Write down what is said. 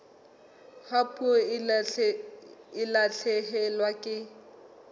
ha puo e lahlehelwa ke